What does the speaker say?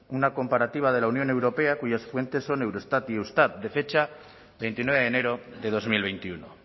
una comparativa de la unión europea cuyas fuentes son eurostat y eustat de fecha veintinueve de enero de dos mil veintiuno